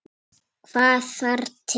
Hvað þarf til?